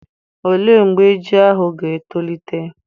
Olee mgbe ji ahụ ga-etolite?